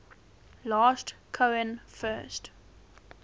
last cohen first